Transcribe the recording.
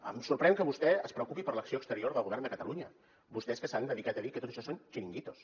em sorprèn que vostè es preocupi per l’acció exterior del govern de catalunya vostès que s’han dedicat a dir que tot això són xiringuitos